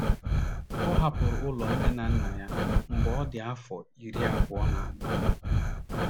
Ọ hapụrụ ụlọ nne na nna ya mgbe ọ dị afọ iri abụọ na anọ.